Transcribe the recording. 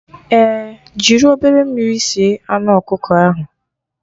Ee, jiri obere mmiri sie anụ ọkụkọ ahụ